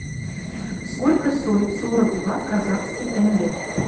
сколько стоит сорок два казахских тенге